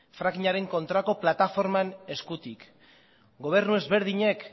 frackingaren kontrako plataformaren eskutik gobernu ezberdinek